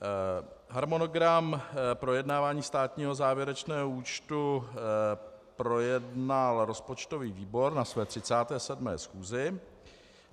Harmonogram projednávání státního závěrečného účtu projednal rozpočtový výbor na své 37. schůzi.